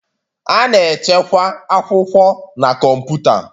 A na-echekwa akwụkwọ na kọmputa.